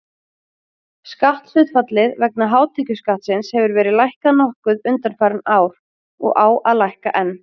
Skatthlutfallið vegna hátekjuskattsins hefur verið lækkað nokkuð undanfarin ár og á að lækka enn.